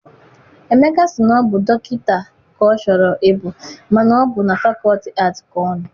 Emeka si na ọ bụ dọkịta ka ọ chọrọ I bụ mana ọ bụ na fakọlti aatị ka ọ nọ.